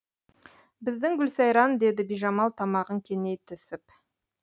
біздің гүлсайран деді бижамал тамағын кеней түсіп